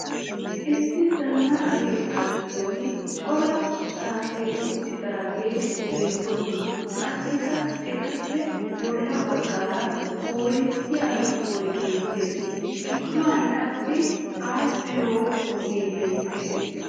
Issi zannaqa keettaa giddon cora sati uttidaageeti beettoosona. Qassikka etappe bolla baggaara koorinttiya shuboy beettes. Gidduwan qassi aadhdhiyo ogee beettes.